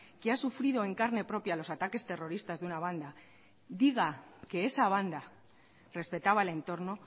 que ha sufrido en carne propia los ataques terroristas de una banda diga que esa banda respetaba el entorno